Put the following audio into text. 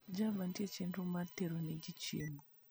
java nitie chenro mar tero ne ji chiemo